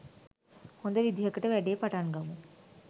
හොඳ විදිහකට වැඩේ පටන් ගමු.